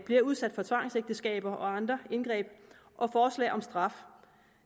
bliver udsat for tvangsægteskaber og andre indgreb og forslag om straf